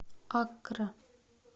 аккра